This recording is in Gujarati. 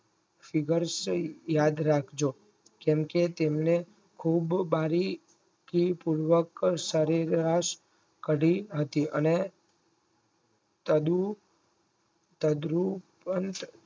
figure સો યાદ રાખજો કેમ કે તેમને ખુબ બારી થી પૂર્વક સરેરાશ કરી હતી અને તડુ તાદ